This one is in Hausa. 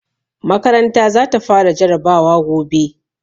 Makaranta za ta fara jarabawa gobe.